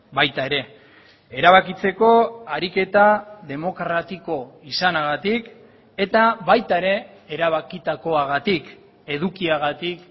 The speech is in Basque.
baita ere erabakitzeko ariketa demokratiko izanagatik eta baita ere erabakitakoagatik edukiagatik